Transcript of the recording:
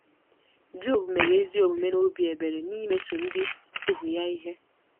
Job mere ezi omume na obi ebere n'imeso ndị ohu ya ihe.